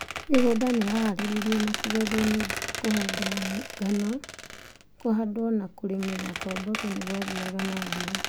Mĩgũnda nĩ yahaarĩrio na gũtherio nĩ ũndũ wa kũhanda ngano. Kũhandwo na kũrĩmĩra kwa mboco nĩ gwathiaga nambere.